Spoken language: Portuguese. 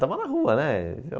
Estava na rua, né?